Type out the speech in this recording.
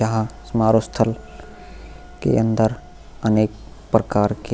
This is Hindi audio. जहा समारोह स्थल के अंदर अनेक प्रकार के --